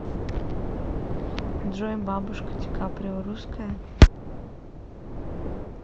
джой бабушка ди каприо русская